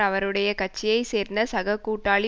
அவருடைய கட்சியை சேர்ந்த சக கூட்டாளி